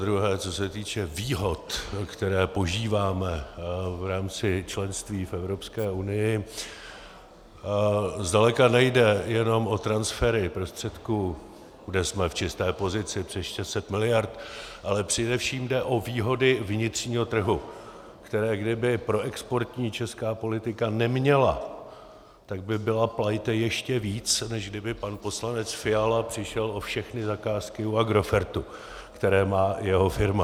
Zadruhé co se týče výhod, které požíváme v rámci členství v Evropské unii, zdaleka nejde jenom o transfery prostředků, kde jsme v čisté pozici přes 600 miliard, ale především jde o výhody vnitřního trhu, které kdyby proexportní česká politika neměla, tak by byla plajte ještě víc, než kdyby pan poslanec Fiala přišel o všechny zakázky u Agrofertu, které má jeho firma.